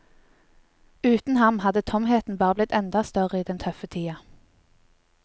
Uten ham hadde tomheten bare blitt enda større i den tøffe tida.